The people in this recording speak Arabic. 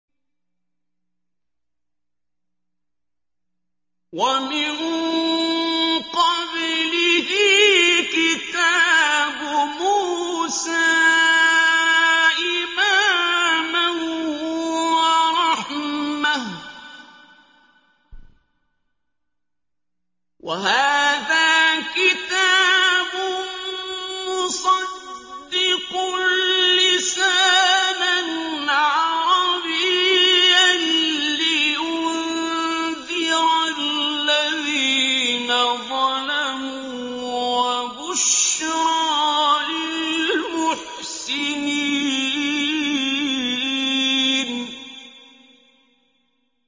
وَمِن قَبْلِهِ كِتَابُ مُوسَىٰ إِمَامًا وَرَحْمَةً ۚ وَهَٰذَا كِتَابٌ مُّصَدِّقٌ لِّسَانًا عَرَبِيًّا لِّيُنذِرَ الَّذِينَ ظَلَمُوا وَبُشْرَىٰ لِلْمُحْسِنِينَ